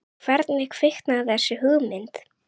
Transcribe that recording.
Hvernig kviknaði þessi hugmynd?